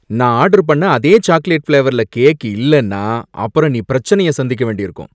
நான் ஆர்டர் பண்ண அதே சாக்லேட் ஃபிளேவர்ல கேக் இல்லைன்னா, அப்புறம் நீ பிரச்சனைய சந்திக்க வேண்டியிருக்கும்!